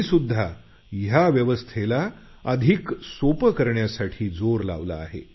मी सुध्दा या व्यवस्थेला अधिक सोपं करण्यासाठी जोर लावला आहे